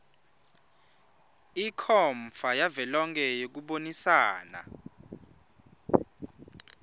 ikhomfa yavelonkhe yekubonisana